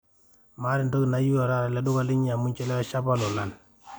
maata entoki nayieu taata tele duka linyi amu inchelewesha apa lolan